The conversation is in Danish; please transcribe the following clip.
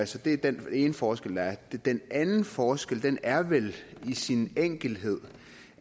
så det er den ene forskel der er den anden forskel er vel i sin enkelhed